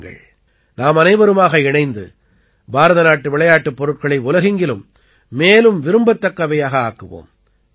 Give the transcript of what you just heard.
வாருங்கள் நாமனைவருமாக இணைந்து பாரதநாட்டு விளையாட்டுப் பொருட்களை உலகெங்கிலும் மேலும் விரும்பத்தக்கவையாக ஆக்குவோம்